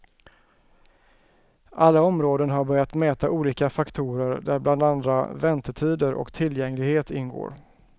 Alla områden har börjat mäta olika faktorer, där bland andra väntetider och tillgänglighet ingår.